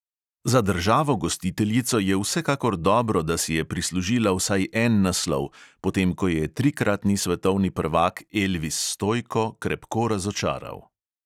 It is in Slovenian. Za državo gostiteljico je vsekakor dobro, da si je prislužila vsaj en naslov, potem ko je trikratni svetovni prvak elvis stojko krepko razočaral.